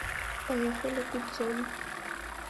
поехали гудзон